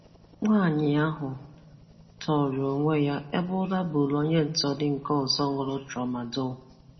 Nwaanyị áhụ tọrọ onwe ya, ebe ụra buru onye ntọrị nke ọzọ ṅụrụ Tramadadol